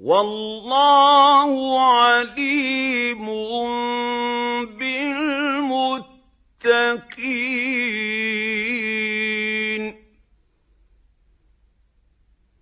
وَاللَّهُ عَلِيمٌ بِالْمُتَّقِينَ